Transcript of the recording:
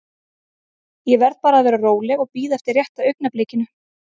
Ég verð bara að vera róleg og bíða eftir rétta augnablikinu.